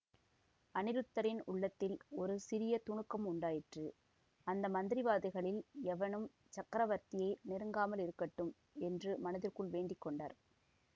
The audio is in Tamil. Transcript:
அநிருத்தரின் உள்ளத்தில் ஒரு சிறிய துணுக்கம் உண்டாயிற்று அந்த மந்திரவாதிகளில் எவனும் சக்கரவர்த்தியை நெருங்காமலிருக்கட்டும் என்று மனதிற்குள் வேண்டி கொண்டார்